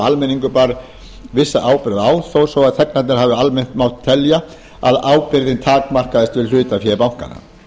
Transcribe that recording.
almenningur bar vissa ábyrgð á þó svo að þegnarnir hafi almennt mátt telja að ábyrgðin takmarkaðist við hlutafé bankanna